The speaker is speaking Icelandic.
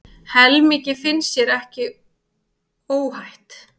Helmingi finnst sér ekki óhætt